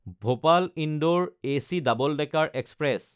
ভপাল–ইন্দোৰ AC double decker express